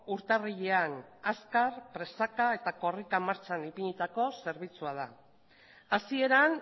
urtarrilean azkar presaka eta korrika martxan ipinitako zerbitzua da hasieran